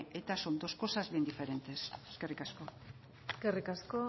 eta son dos cosas bien diferentes eskerrik asko eskerrik asko